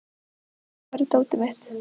Haddi, hvar er dótið mitt?